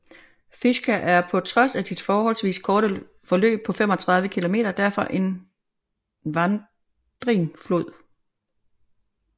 Fischa er på trods af sit forholdsvis korte forløb på 35 km derfor en vandrig flod